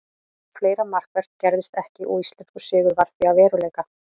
Fleira markvert gerðist ekki og íslenskur sigur varð því að veruleika.